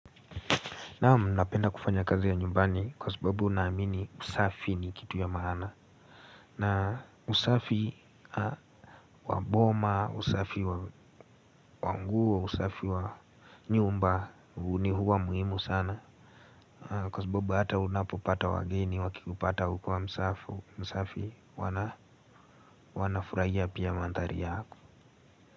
Naam napenda kufanya kazi ya nyumbani kwa sababu naamini usafi ni kitu ya maana. Na usafi wa boma, usafi wa nguo, usafi wa nyumba ni huwa muhimu sana. Kwa sababu hata unapopata wageni wakikupata hukua msafi, msafi wanafurahia pia manthari yako.